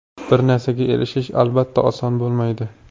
Bir narsaga erishish, albatta, oson bo‘lmaydi.